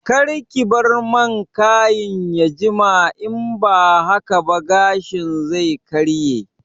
Karki bar man kayin ya jima in ba haka ba gashin zai karye